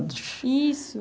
Difícil?